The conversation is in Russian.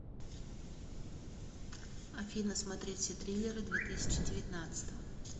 афина смотреть все триллеры две тысячи девятнадцатого